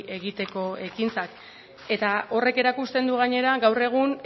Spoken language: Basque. egiteko ekintzak eta horrek erakusten du gainera gaur egun